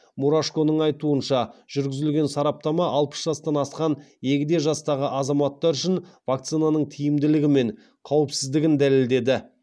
мурашконың айтуынша жүргізілген сараптама алпыс жастан асқан егде жастағы азаматтар үшін вакцинаның тиімділігі мен қауіпсіздігін дәлелдеді